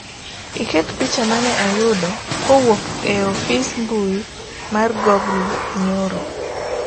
iket picha mane ayudo kowuok e ofis mbui mar google nyoro